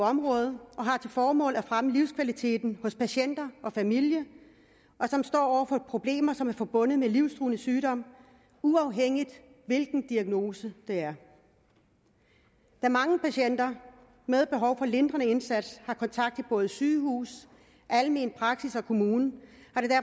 område og formål at fremme livskvaliteten hos patienter og familie som står over for problemer som er forbundet med livstruende sygdom uafhængigt af hvilken diagnose det er da mange patienter med behov for lindrende indsats har kontakt til både sygehus almen praksis og kommune